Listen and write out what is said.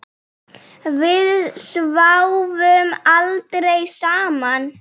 Við sváfum aldrei saman.